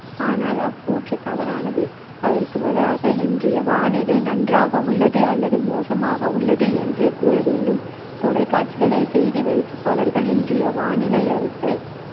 ஆனால் அக்கூற்று தவறானது அதற்கு பதிலாக இன்றைய வானிலை நன்றாக உள்ளது அல்லது மோசமாக உள்ளது என்றே கூறவேண்டும் தொலைக்காட்சிகளில் செய்தி வாசிப்பாளர்கள் இன்றைய வானிலை அறிக்கை